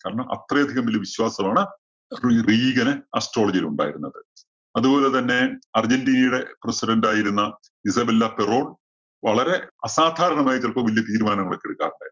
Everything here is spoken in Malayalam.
കാരണം, അത്രയധികം വല്യ വിശ്വാസമാണ് റീ~റീഗന് astrology യില്‍ ഉണ്ടായിരുന്നത്. അതുപോലെ തന്നെ അര്‍ജന്‍റീനയുടെ പ്രസിഡണ്ടായിരുന്ന ഇസബെല്ല ഫെറോണ്‍ വളരെ അസാധാരണമായ ചെലപ്പോ വല്യ തീരുമാനങ്ങളൊക്കെ എടുക്കാറുണ്ടായിരുന്നു.